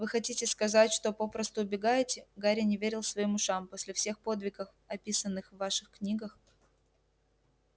вы хотите сказать что попросту убегаете гарри не верил своим ушам после всех подвигов описанных в ваших книгах